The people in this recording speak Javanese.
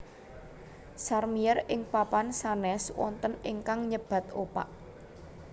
Sèrmièr ing papan sanes wonten ingkang nyebat opak